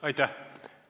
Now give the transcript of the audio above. Aitäh!